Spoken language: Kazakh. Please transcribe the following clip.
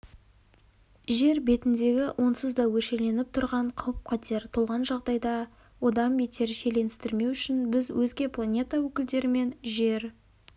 жер бетіндегі онсыз да өршеленіп тұрған қауіп-қатер толған жағдайды одан бетер шиеленістірмеу үшін біз өзге планета өкілдерімен жер